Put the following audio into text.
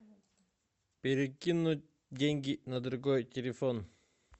перекинуть деньги на другой телефон